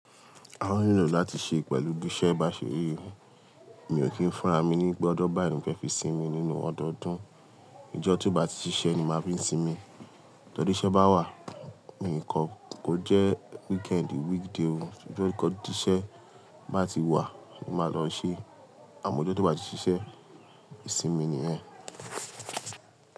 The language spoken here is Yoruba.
A ó nílò láti ṣe pẹ̀lú bí iṣẹ́ bá ṣe rí. Mi ò kí ń fúnra mi ní pe ọ́jọ̀ báyìí ni mo fe fi sinmi nínú ọdọdún. Ìjọ́ tí ó bá ti ṣiṣẹ́ ni màá fi ń sinmi. Tọ́ri iṣẹ́ bá wà, mi o kò, kó jẹ́ weekendi, weekday oo, tí ó kọjá tí iṣẹ́ bá ti wà, ni màá lọ ṣe, àmọ́ ọjọ́ tó bá ti ṣiṣẹ́, ìsinmi ni ẹ.